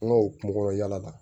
An ka o kungokɔnɔ yala la